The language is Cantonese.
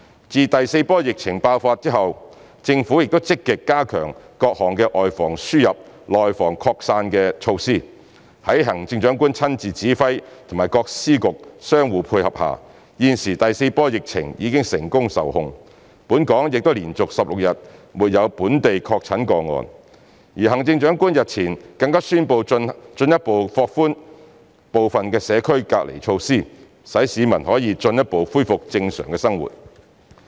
自第四波疫情爆發後，政府又積極加強各項外防輸入，內防擴散的措施，在行政長官親自指揮及各司局相互配合下，現時第四波疫情已成功受控，本港亦已連續16日沒有本地確診個案，而行政長官日前更宣布進一步放寬部分社交距離措施，使市民可以進一步恢復正常生活。